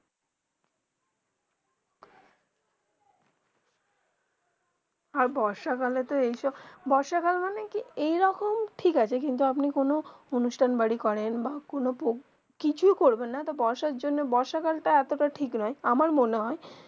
আর বর্ষাকালে এইসব বর্ষাকাল মানে কি এইরকম ঠিক আছে কিন্তু আপনি কোনো আনুষ্ঠান বাড়ি করেন বা কোনো পর কিছু করবেন না বর্ষা জন্য বর্ষাকাল তা আটো তা ঠিক নয় আমার মনে হয়ে